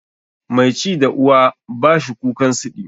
Mai ci da uwa ba shi kukan siɗi.